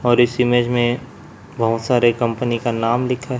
और इस ईमेज में बहोत सारे कम्पनी का नाम लिखा है।